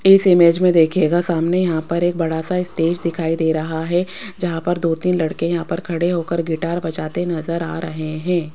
इस इमेज में देखिएगा सामने यहां एक बड़ा सा स्टेज दिखाई दे रहा है जहां पर दो तीन लड़के यहां पर खड़े हो कर गिटार बजाते नज़र आ रहे हैं।